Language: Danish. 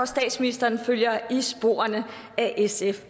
statsministeren følger i sporene af sf